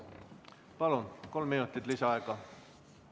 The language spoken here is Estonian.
Palun, kolm minutit lisaaega!